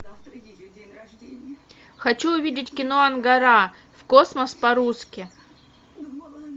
хочу увидеть кино ангара в космос по русски